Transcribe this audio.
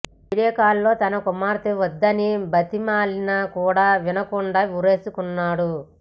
video కాల్లో తన కుమార్తె వద్దని బతిమాలిన కూడా వినకుండా ఉరేసుకున్నాడు